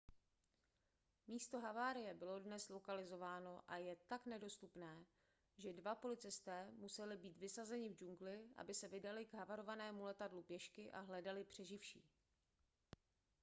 místo havárie bylo dnes lokalizováno a je tak nedostupné že dva policisté museli být vysazeni v džungli aby se vydali k havarovanému letadlu pěšky a hledali přeživší